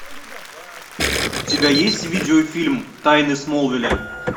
у тебя есть видеофильм тайны смолвиля